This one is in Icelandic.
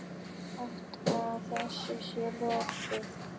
Sagt að þessu sé lokið.